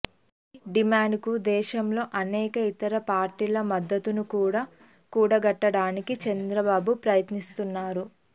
ఈ డిమాండుకు దేశంలోని అనేక ఇతర పార్టీల మద్దతును కూడా కూడగట్టడానికి చంద్రబాబు ప్రయత్నిస్తున్నారు